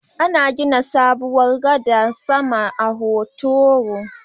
Ana gina sabuwar gadar sama a Hotoro